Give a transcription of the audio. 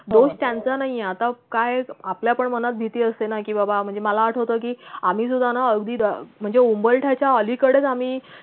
दोष त्यांचा नाहीये की आता काय आपल्या पण मनात भीती असते ना कि बाबा म्हणजे मला आठवतं की आम्ही सुद्धा ना अगदी म्हणजे उंबरठ्याच्या अलीकडेच आम्ही